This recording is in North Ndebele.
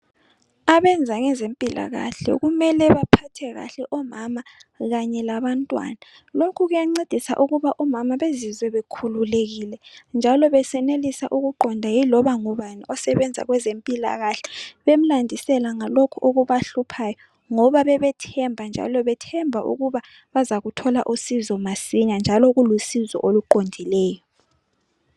Abenza ngezempilakahle kumele baphathe kahle omama kanye labantwana , lokhu kuyancedisa ukuba omama bezwizwe bekhululekile njalo besenelisa ukuqonda yiloba ngubani osebenza kwezempilakahle bemlandisela ngalokho okubahluphayo. Ngoba bebethemba njalo bethemba bazukuthola usizo masinya njalo kulusizo oluqondileyo.